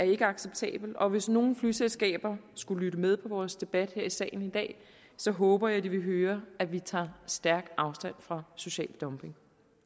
ikke acceptabelt og hvis nogle flyselskaber skulle lytte med på vores debat her i salen i dag så håber jeg de vil høre at vi tager stærkt afstand fra social dumping